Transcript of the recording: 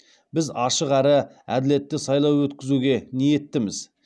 біз ашық әрі әділетті сайлау өткізуге ниеттіміз